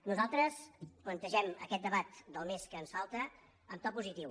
nosaltres plantegem aquest debat del mes que ens falta en to positiu